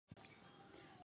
Sani ya pembe .